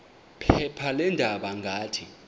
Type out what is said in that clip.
phepha leendaba ngathi